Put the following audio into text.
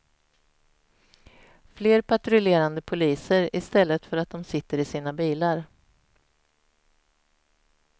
Fler patrullerande poliser i stället för att de sitter i sina bilar.